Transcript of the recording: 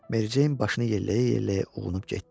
Mericeyn başını yelləyə-yelləyə uğrunub getdi.